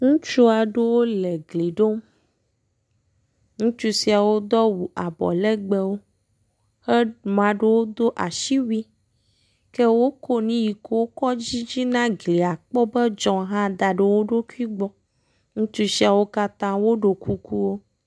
ŋutsu siawo le gli ɖom ŋutsu siawo dó awu abɔlegbe ke maɖewo dó asiwui ke wokó nuike wòkɔ dzidzina glia kpɔbe edzɔ daɖe woɖokui gbɔ ŋutsu siawo ɖo kuku